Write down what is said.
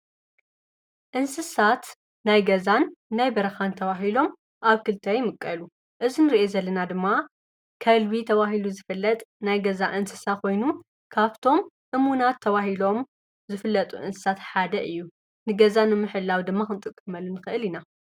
ካብ እንስሳታት ዘቤት ሓደ ዝኮነ ከልቢ እንትከውን፣ ምስ ደቂ ሰባት ብጣዕሚ ዝቀረበ ዝምድና ዘለዎ እንስሳ ካብ ደቂ ሰባት ካብ ዝተፈላለዩ ነገራት ገዛን እንስሳን ካብ ዝድለዩ እንስሳታት ሓደ እዩ።